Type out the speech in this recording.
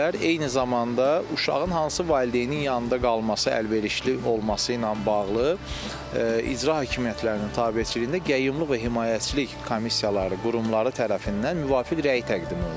Eyni zamanda uşağın hansı valideynin yanında qalması əlverişli olması ilə bağlı icra hakimiyyətlərinin tabeliçiliyində qayyumlulıq və himayəçilik komissiyaları, qurumları tərəfindən müvafiq rəy təqdim olunur.